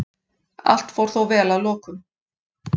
Allt fór þó vel að lokum